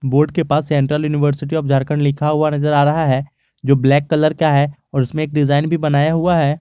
Board के पास central university of Jharkhand लिखा हुआ नजर आ रहा है जो ब्लैक कलर का है और उसमें एक डिजाइन भी बनाया हुआ है।